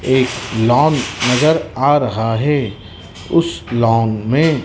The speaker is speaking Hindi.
एक लॉन नजर आ रहा है उस लॉन में--